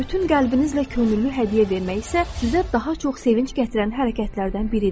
Bütün qəlbinizlə könüllü hədiyyə vermək isə sizə daha çox sevinc gətirən hərəkətlərdən biridir.